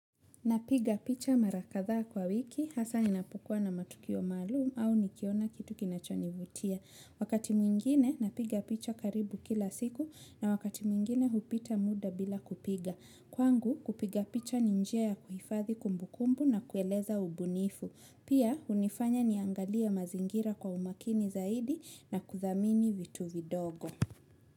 Napiga picha mara kadhaa kwa wiki hasa ninapokua na matukio maalum au nikiona kitu kinachonivutia. Wakati mwingine napiga picha karibu kila siku na wakati mwingine hupita muda bila kupiga. Kwangu kupiga picha ni njia ya kuhifadhi kumbukumbu na kueleza ubunifu. Pia hunifanya niangalie mazingira kwa umakini zaidi na kuthamini vitu vidogo.